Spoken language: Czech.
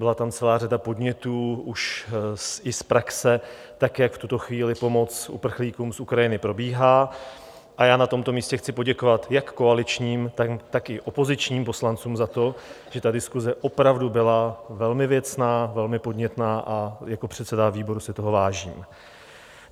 Byla tam celá řada podnětů už i z praxe, tak jak v tuto chvíli pomoc uprchlíkům z Ukrajiny probíhá, a já na tomto místě chci poděkovat jak koaličním, tak i opozičním poslancům za to, že ta diskuse opravdu byla velmi věcná, velmi podnětná, a jako předseda výboru si toho vážím.